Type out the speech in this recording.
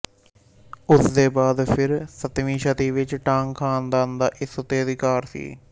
ਉਸਦੇ ਬਾਅਦ ਫਿਰ ਸੱਤਵੀਂ ਸ਼ਤੀ ਵਿੱਚ ਟਾਂਗ ਖ਼ਾਨਦਾਨ ਦਾ ਇਸ ਉੱਤੇ ਅਧਿਕਾਰ ਸੀ